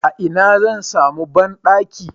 A ina zan sami banɗaki?